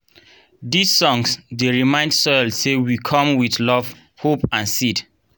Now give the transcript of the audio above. these songs dey remind soil say we come with love hope and seed.